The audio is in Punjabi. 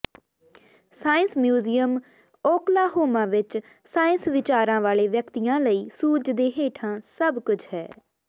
ਸਾਇੰਸ ਮਿਊਜ਼ੀਅਮ ਓਕਲਾਹੋਮਾ ਵਿਚ ਸਾਇੰਸ ਵਿਚਾਰਾਂ ਵਾਲੇ ਵਿਅਕਤੀਆਂ ਲਈ ਸੂਰਜ ਦੇ ਹੇਠਾਂ ਸਭ ਕੁਝ ਹੈ